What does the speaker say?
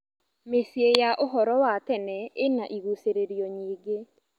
Mĩciĩ ya ũhoro wa tene ĩna igucĩrĩrio nyingĩ.